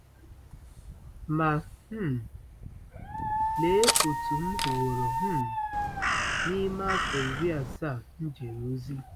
Ma, um lee otú m hụworo um n'ime afọ iri asaa m jere ozi!